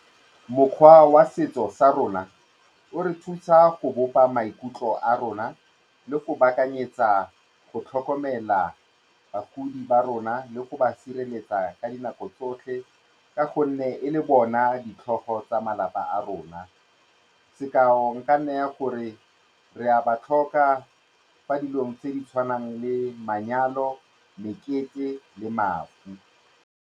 Mokgwa wa setso sa rona o re thusa go bopa maikutlo a rona le go baakanyetsa go tlhokomela bagodi ba rona le go ba sireletsa ka dinako tsotlhe ka gonne e le bona ditlhogo tsa malapa a rona. Sekao e ka nna gore re a ba tlhoka fa dilong tse di tshwanang le manyalo, mekete le mafu.